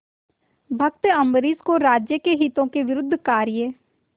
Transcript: भक्त अम्बरीश को राज्य के हितों के विरुद्ध कार्य